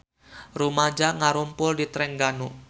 Rumaja ngarumpul di Trengganu